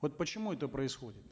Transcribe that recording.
вот почему это происходит